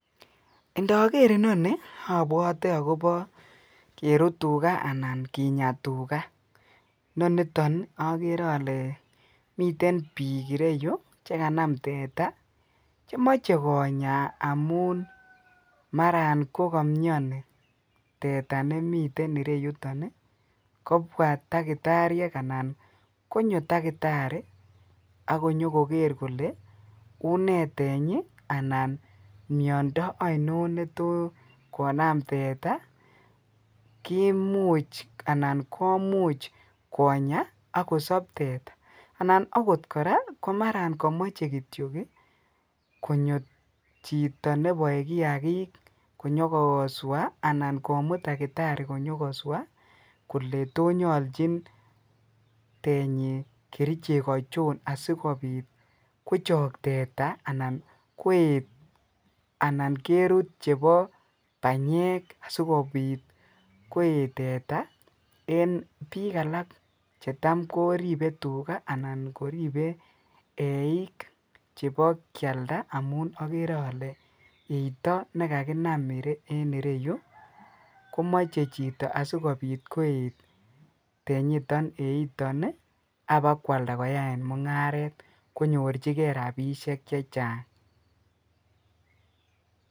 Indoker inoni obwote akobo kerut tukaa anan kinya tukaa, noniton okere olee miten biik ireyu chekanam teta chemoche konya amun maran ko komioni teta nemiten ireyuton kobwa takitariek anan konyo takitari ak inyokoker kolee unee tenyi anan miondo oinon netokonam teta kimuch anan komuch konya akosob teta anan akot kora komaran komoche kityok konyo chito neboe kiakik konyokoswa anan komut takitari konyo koswa kolee tonyolchin tenyi kerichek achon asikobit kochook teta anan koet anan kerut chebo banyek asikobit koet teta en biik alak chetam koribe tukaa anan koribee eiik chebo kialda amun okere olee eito nekakinam en ireyu komoche chito asikobit koet tenyiton anan eiton abakwalda koyaen mung'aret konyorchike rabishek chechang.